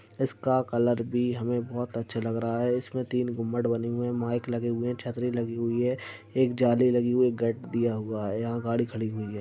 इसका कलर भी हमें बोहोत अच्छा लग रहा है। इसमें तीन गुंबड बने हुए हैं। माइक लगे हुए हैं। छतरी लगी हुई है। एक जाली लगी हुई है। एक गेट दिया हुआ है। यहाँ गाड़ी खड़ी हुई है।